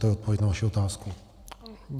To je odpověď na vaši otázku.